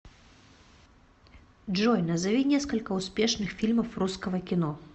джой назови несколько успешных фильмов русского кино